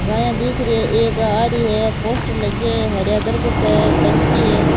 गाया दिख री है एक आ री है पोस्टर लगे है हरिया दरकत है टंकी है।